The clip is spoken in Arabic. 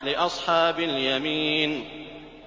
لِّأَصْحَابِ الْيَمِينِ